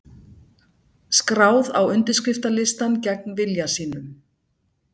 Skráð á undirskriftalistann gegn vilja sínum